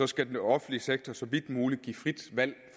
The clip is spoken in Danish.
skal den offentlige sektor så vidt muligt give frit valg